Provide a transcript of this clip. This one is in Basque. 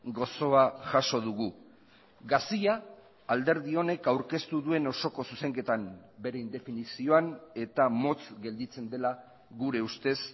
gozoa jaso dugu gazia alderdi honek aurkeztu duen osoko zuzenketan bere indefinizioan eta motz gelditzen dela gure ustez